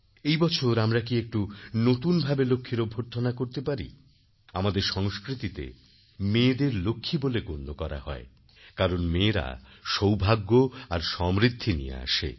এবছর আমরা কি একটু নতুন ভাবেলক্ষ্মীর অভ্যর্থনাকরতে পারি আমাদের সংস্কৃতিতে মেয়েদের লক্ষ্মী বলে গণ্য করা হয় কারণ মেয়েরা সৌভাগ্য আর সমৃদ্ধি নিয়ে আসে